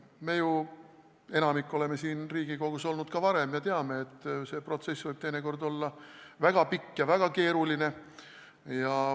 Enamik meist on ju siin Riigikogus olnud ka varem ja me teame, et see protsess võib teinekord olla väga pikk ja väga keeruline.